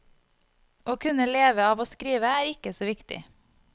Å kunne leve av å skrive er ikke så viktig.